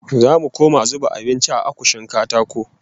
Zamu koma zuba abinci a akushin katako